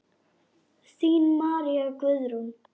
Þín María Guðrún.